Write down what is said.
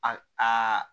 A a